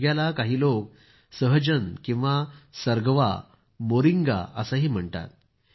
शेवग्याला काही लोक सहजन किंवा सर्गवा मोरिंगा असंही म्हणतात